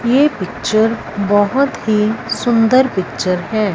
ये पिक्चर बहुत ही सुंदर पिक्चर है।